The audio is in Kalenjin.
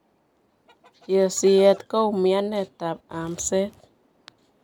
Chiseet ko umianeet ab amseet